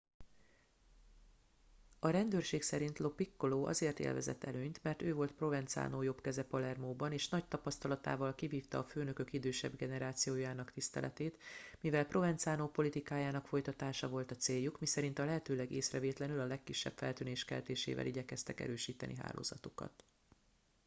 a rendőrség szerint lo piccolo azért élvezett előnyt mert ő volt provenzano jobbkeze palermóban és nagy tapasztalatával kivívta a főnökök idősebb generációjának tiszteletét mivel provenzano politikájának folytatása volt a céljuk miszerint a lehetőleg észrevétlenül a legkisebb feltűnés keltésével igyekeztek erősíteni hálózatukat